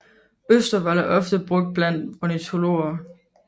Østervold er ofte brugt blandt ornitologer